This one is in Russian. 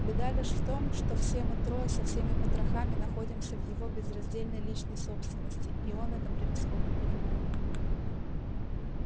беда лишь в том что все мы трое со всеми потрохами находимся в его безраздельной личной собственности и он это превосходно понимает